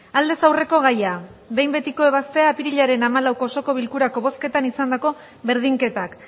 aldez aurreko gaia aldez aurreko gaia behin betiko ebaztea apirilaren hamalauko osoko bilkurako bozketan izandako berdinketak